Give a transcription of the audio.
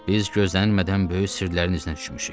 Biz gözlənilmədən böyük sirlərin üzünə düşmüşük.